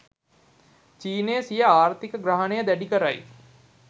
චීනය සිය ආර්ථික ග්‍රහණය දැඩි කරයි